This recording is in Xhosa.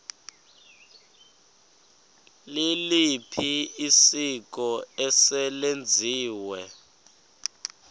liliphi isiko eselenziwe